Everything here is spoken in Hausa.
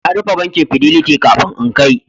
An rufe bankin Fidelity kafin in kai